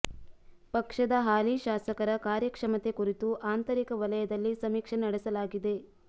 ಪಕ್ಷದ ಹಾಲಿ ಶಾಸಕರ ಕಾರ್ಯಕ್ಷಮತೆ ಕುರಿತು ಆಂತರಿಕ ವಲಯದಲ್ಲಿ ಸಮೀಕ್ಷೆ ನಡೆಸಲಾಗಿದೆ